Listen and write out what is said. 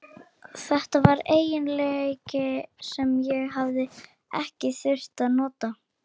Þetta var eiginleiki sem ég hafði ekki þurft að nota.